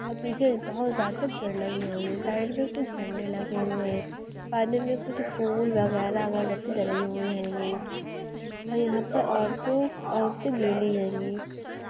और पीछे बहुत ज्यादा भीड़ लगी हुई है साइड में कुछ झंडे लगे हुए हैं पानी में कुछ फूल वगैरा अगर बत्ती डाली हुई होगी और यहां पर और तो औरतें गली होगी--